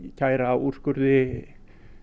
kæra úrskurði